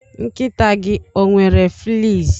Nkịta gị ọ nwere fleas?